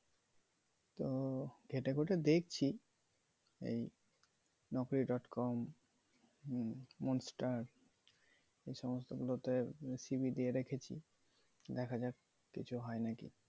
তো ঘেটে ঘুটে দেখছি এই naukri dot com hmm monster এই সমস্ত গুলোতে c. v. দিয়ে রেখেছি দেখা যাক কিছু হয়ে নাকি।